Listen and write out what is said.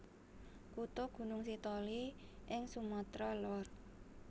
Kutha Gunung Sitoli ing Sumatra Lor